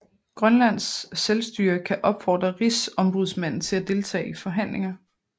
Grønlands Selvstyre kan opfordre Rigsombudsmanden til at deltage i forhandlinger